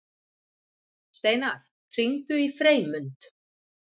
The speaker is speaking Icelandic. Steinar, hringdu í Freymund.